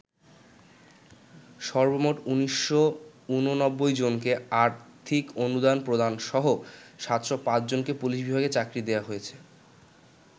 সর্বমোট ১৯৮৯ জনকে আর্থিক অনুদান প্রদানসহ ৭০৫ জনকে পুলিশ বিভাগে চাকরি দেওয়া হয়েছে।